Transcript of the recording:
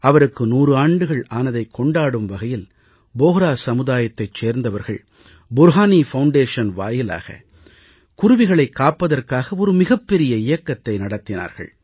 அவருக்கு 100 ஆண்டுகள் ஆனதைக் கொண்டாடும் வகையில் போஹ்ரா சமூகத்தைச் சேர்ந்தவர்கள் புர்ஹானி அறக்கட்டளை வாயிலாக குருவிகளைக் காப்பதற்காக மிகப் பெரிய இயக்கத்தை நடத்தினார்கள்